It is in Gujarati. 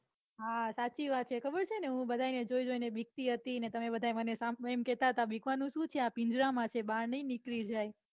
હા સાચી વાત છે. ખબર છે ને હું બધાને જોઈ જોઈને બીકતી હતી ને તમે બધા મને સામે એમ કેતા હતા બીકવાનું સુ છે. આ પિંજરામાં છે બહાર નઈ નીકળી જાય.